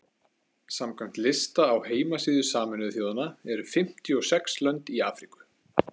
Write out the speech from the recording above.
samkvæmt lista á heimasíðu sameinuðu þjóðanna eru fimmtíu og sex lönd í afríku